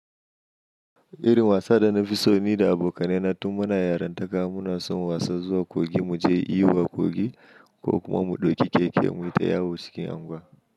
Irin wasa da na fi so ni da abokanai na, tun muna yaran takama, muna son wasan zuwa kogi, mu je iyo a kogi ko kuma mu ɗauki keke muyi ta yawo cikin unguwa.